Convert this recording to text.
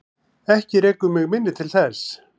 Ekki rekur mig minni til þess.